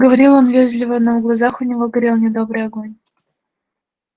говорил он вежливо но в глазах у него горел недобрый огонь